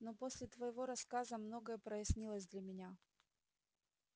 но после твоего рассказа многое прояснилось для меня